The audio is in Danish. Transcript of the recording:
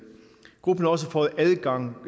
gruppen har også fået adgang